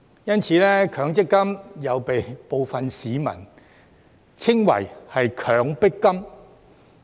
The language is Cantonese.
因此，強積金又被部分市民稱為"強迫金"。